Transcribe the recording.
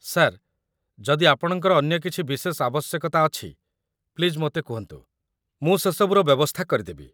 Sir, ଯଦି ଆପଣଙ୍କର ଅନ୍ୟ କିଛି ବିଶେଷ ଆବଶ୍ୟକତା ଅଛି, ପ୍ଲିଜ୍ ମୋତେ କୁହନ୍ତୁ, ମୁଁ ସେସବୁର ବ୍ୟବସ୍ଥା କରିଦେବି ।